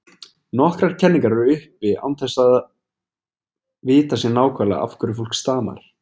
Nokkrar kenningar eru uppi án þess að að vitað sé nákvæmlega af hverju fólk stamar.